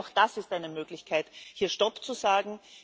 Das heißt, auch das ist eine Möglichkeit, hier Stopp zu sagen.